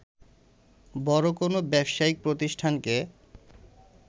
বড় কোন ব্যবসায়িক প্রতিষ্ঠানকে